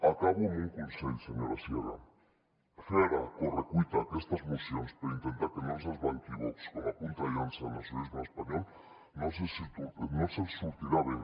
acabo amb un consell senyora sierra fer ara a correcuita aquestes mocions per intentar que no els desbanqui vox com a punta de llança del nacionalisme espanyol no els sortirà bé